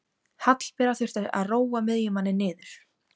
Hallbera þurfti að róa miðjumanninn niður.